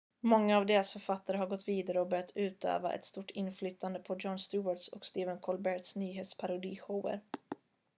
många av deras författare har gått vidare och börjat utöva ett stort inflytande på jon stewarts och stephen colberts nyhetsparodishower